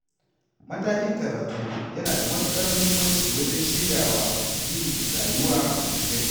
Matakin karatu yana da matuƙar muhimmanci wajen shiryawa yin rayuwa mai inganci.